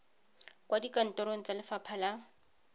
kwa dikantorong tsa lefapha la